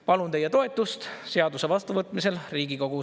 Palun teie toetust seaduse vastuvõtmisel Riigikogus.